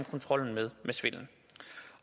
kontrollen med svindel